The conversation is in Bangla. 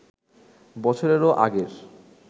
বছরেরও আগের